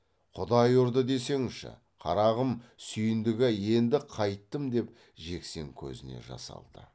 құдай ұрды десеңші қарағым сүйіндік ай енді қайттім деп жексен көзіне жас алды